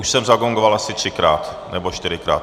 Už jsem zagongoval asi třikrát nebo čtyřikrát.